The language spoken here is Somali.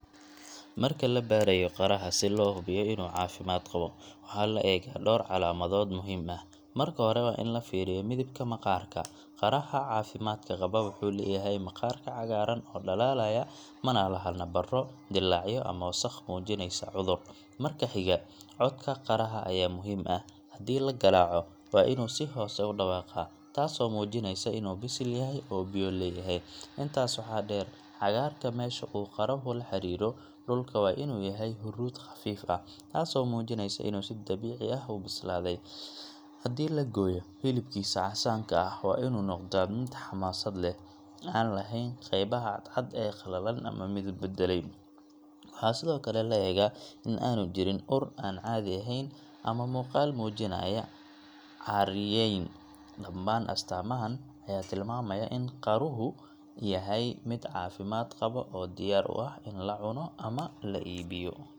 Marka la baarayo qaraha si loo hubiyo inuu caafimaad qabo, waxaa la eegaa dhowr calaamadood muhiim ah. Marka hore waa in la fiiriyo midabka maqaarka – qaraha caafimaadka qaba wuxuu leeyahay maqaarka cagaaran oo dhalaalaya, mana laha nabarro, dillaacyo, ama wasakh muujinaysa cudur. Marka xiga, codka qaraha ayaa muhiim ah – haddii la garaaco, waa inuu si hoose u dhawaaqaa, taasoo muujinaysa inuu bisil yahay oo biyo leeyahay. Intaas waxaa dheer, cagaarka meesha uu qaruhu la xiriiray dhulka waa inuu yahay huruud khafiif ah, taasoo muujinaysa inuu si dabiici ah u bislaaday. Haddii la gooyo, hilibkiisa casaanka ah waa inuu noqdaa mid xamaasad leh, aan lahayn qaybaha cadcad ee qallalan ama midab beddelay. Waxaa sidoo kale la eegaa in aanu jirin ur aan caadi ahayn ama muuqaal muujinaya caaryeyn. Dhammaan astaamahan ayaa tilmaamaya in qaruhu yahay mid caafimaad qaba oo diyaar u ah in la cuno ama la iibiyo.